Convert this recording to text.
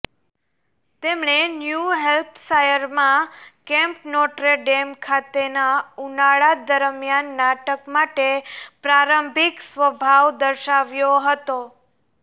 તેમણે ન્યૂ હેમ્પશાયરમાં Camp Notre Dame ખાતેના ઉનાળા દરમિયાન નાટક માટે પ્રારંભિક સ્વભાવ દર્શાવ્યો હતો